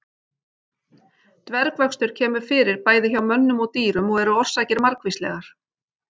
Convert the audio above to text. Dvergvöxtur kemur fyrir bæði hjá mönnum og dýrum og eru orsakir margvíslegar.